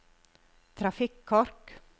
trafikkork